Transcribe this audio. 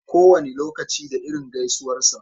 Kowane lokaci da irin gaisuwarsa.